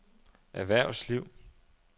erhvervsliv